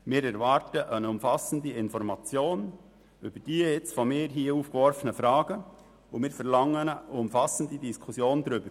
Wir erwarten eine umfassende Information über die von mir hier aufgeworfenen Fragen und verlangen eine umfassende Diskussion darüber.